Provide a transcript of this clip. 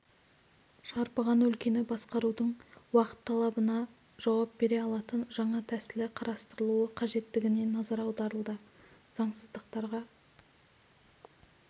шарпыған өлкені басқарудың уақыт талабына жауап бере алатын жаңа тәсілі қарастырылуы қажеттігіне назар аударылды заңсыздықтарға